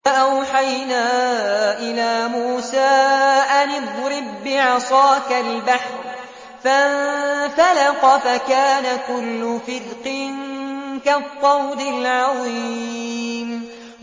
فَأَوْحَيْنَا إِلَىٰ مُوسَىٰ أَنِ اضْرِب بِّعَصَاكَ الْبَحْرَ ۖ فَانفَلَقَ فَكَانَ كُلُّ فِرْقٍ كَالطَّوْدِ الْعَظِيمِ